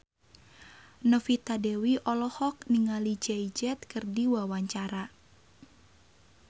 Novita Dewi olohok ningali Jay Z keur diwawancara